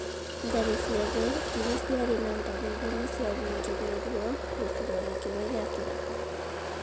Ngarĩ ciothe iria ciarĩ na ndariri nĩ ciahingĩirwo gĩcigo-inĩ kĩmwe gĩa gĩthaka.